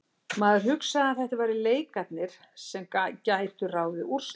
Maður hugsaði að þetta væru leikirnir sem gætu ráðið úrslitum.